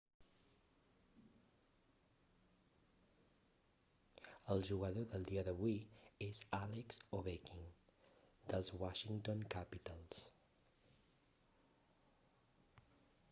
el jugador del dia d'avui és alex ovechkin dels washington capitals